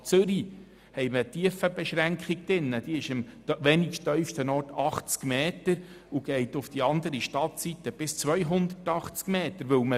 So gilt in der Stadt Zürich eine Tiefenbeschränkung, welche an der am wenigsten tiefen Stelle 80 Meter beträgt und bis zur anderen Stadtseite gilt, wo sie 280 Meter beträgt.